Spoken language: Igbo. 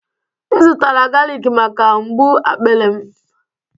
M zụtara galik maka mgbu akpịrị m